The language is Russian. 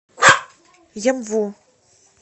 емву